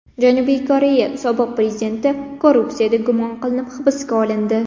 Janubiy Koreya sobiq prezidenti korrupsiyada gumon qilinib hibsga olindi.